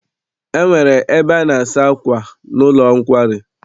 E nwere ebe a na-asa akwà n'ụlọ nkwari.